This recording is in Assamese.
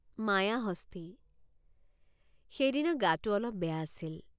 মায়াহস্তী সেইদিনা গাটে৷ অলপ বেয়া আছিল।